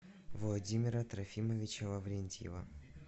владимира трофимовича лаврентьева